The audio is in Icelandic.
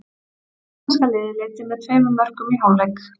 Íslenska liðið leiddi með tveimur mörkum í hálfleik.